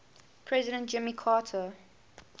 president jimmy carter